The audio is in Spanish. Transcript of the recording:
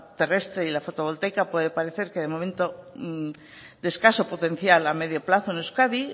terrestre y la fotovoltaica puede parecer que de momento de escaso potencial a medio plazo en euskadi